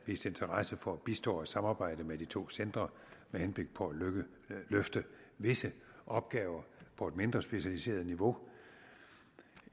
vist interesse for at bistå og samarbejde med de to centre med henblik på at løfte visse opgaver på et mindre specialiseret niveau